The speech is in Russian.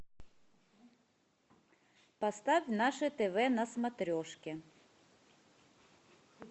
поставь наше тв на смотрешке